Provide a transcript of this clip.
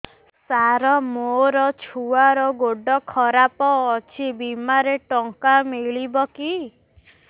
ସାର ମୋର ଛୁଆର ଗୋଡ ଖରାପ ଅଛି ବିମାରେ ଟଙ୍କା ମିଳିବ କି